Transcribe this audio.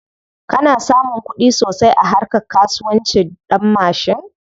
Kana samun kuɗi sosai a harka kasuwancin ɗanmashin?